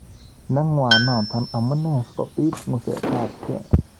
Nengwa notok amu nee sikobiit ng'usetabgei.